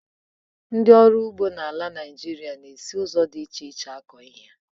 Ndị ọrụ ugbo n'ala Naijiria na-esi ụzọ dị iche iche akọ ihe.